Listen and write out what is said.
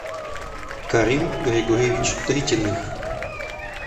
карим григорьевич тритиных